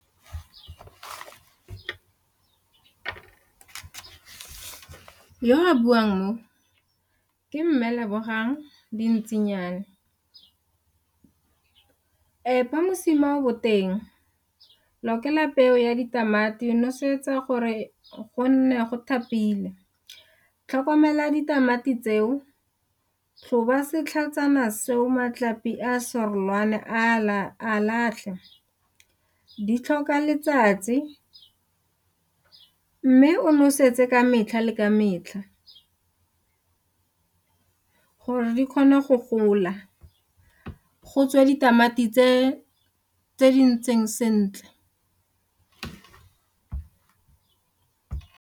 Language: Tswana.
Yo a buang mo ke mme Lebogang Dintsinyana, epa mosima o boteng, lokela peo ya ditamati, nosetsa gore go nne go thapile. Tlhokomela ditamati tseo, tlhoba setlhajana seo golwane a a latlhe, di tlhoka letsatsi mme o nosetsa ka metlha le ka metlha gore di kgona go gola go tswe ditamati tse di ntseng sentle.